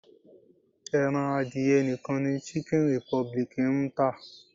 Ẹran adìyẹ nìkan ni Chicken Republic ń tà.